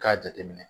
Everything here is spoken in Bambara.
K'a jateminɛ